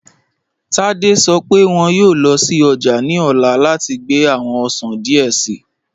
Tádé sọ̀ pẹ wọn yọọ lọ sí ọjà ni ọla láti gbà awọn ọṣàn díẹ̀ sìí